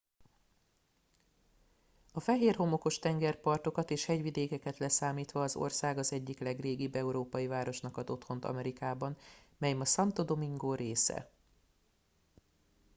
a fehér homokos tengerpartokat és hegyvidékeket leszámítva az ország az egyik legrégibb európai városnak ad otthont amerikában mely ma santo domingo része